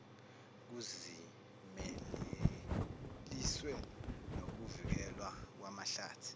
kuzimeleliswe nokuvikelwa kwamahlathi